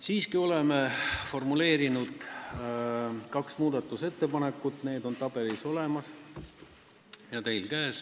Meie ise oleme formuleerinud kaks muudatusettepanekut, need on tabelis olemas ja teile näha.